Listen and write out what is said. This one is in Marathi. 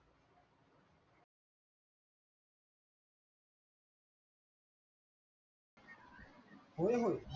होय होय